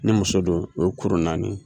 Ni muso don o ye kurun naani ye.